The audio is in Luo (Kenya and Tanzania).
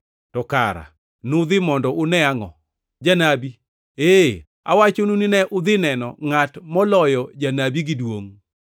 To kara nudhi mondo une angʼo? Janabi? Ee, awachonu ni ne udhi neno ngʼat moloyo janabi gi duongʼ.